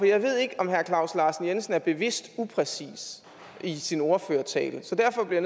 jeg ved ikke om herre claus larsen jensen er bevidst upræcis i sin ordførertale så derfor bliver